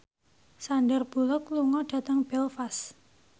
Sandar Bullock lunga dhateng Belfast